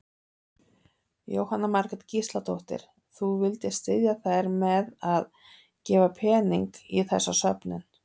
Jóhanna Margrét Gísladóttir: Þú vildir styðja þær með að gefa pening í þessa söfnun?